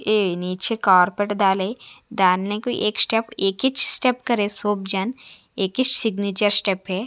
ये नीचे कार्पेट डाले डालने के एक स्टेप एक ही स्टेप करें सब जन एक सिगनेचर स्टेप हैं।